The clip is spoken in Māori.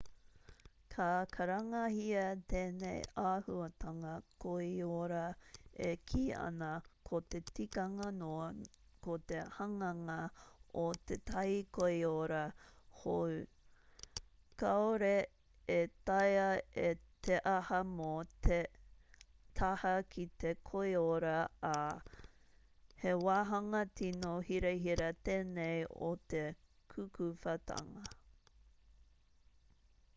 ka karangahia tēnei āhuatanga koiora e kī ana ko te tikanga noa ko te hanganga o tētahi koiora hou kāore e taea te aha mō te taha ki te koiora ā he wāhanga tīno hirahira tēnei o te kukuwhatanga